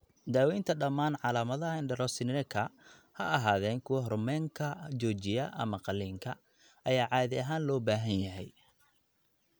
Daawaynta dhammaan calaamadaha endocrineka, ha ahaadeen kuwa hormoonka joojiya ama qaliinka, ayaa caadi ahaan loo baahan yahay.